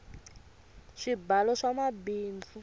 swibalo swa mabindzu